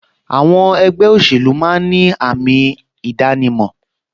Àwọn ẹgbẹ́ òṣèlú máa ń ní àmì ìdánimọ̀